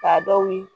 K'a dɔw ye